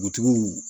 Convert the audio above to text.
Dugutigiw